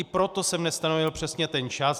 I proto jsem nestanovil přesně ten čas.